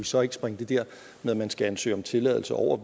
så ikke springe det der med at man skal ansøge om tilladelse over